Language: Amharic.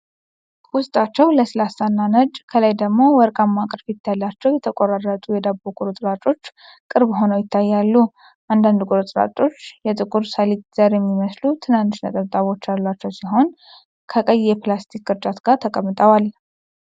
ውስጣቸው ለስላሳና ነጭ፣ ከላይ ደግሞ ወርቃማ ቅርፊት ያላቸው የተቆራረጡ የዳቦ ቁርጥራጮች ቅርብ ሆነው ይታያሉ። አንዳንድ ቁርጥራጮች በጥቁር ሰሊጥ ዘር የሚመስሉ ትናንሽ ነጠብጣቦች ያሏቸው ሲሆን፣ ከቀይ የፕላስቲክ ቅርጫት ጋር ተቀምጠዋል።